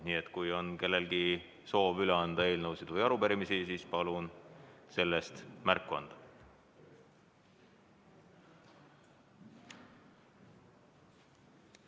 Nii et kui on kellelgi soovi üle anda eelnõusid või arupärimisi, siis palun sellest märku anda.